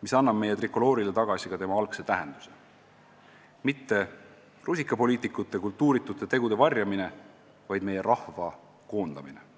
mis annab me trikoloorile tagasi tema algse tähenduse: mitte rusikapoliitikute kultuuritute tegude varjamine, vaid meie rahva koondamine.